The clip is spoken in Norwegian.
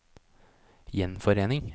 gjenforening